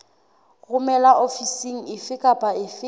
romelwa ofising efe kapa efe